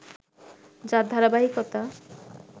যার ধারাবাহিকতা